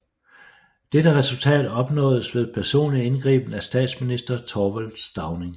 Dette resultat opnåedes ved personlig indgriben af statsminister Thorvald Stauning